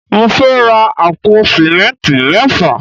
Mo fẹ́ ra àpò símẹ́ntì mẹ́fà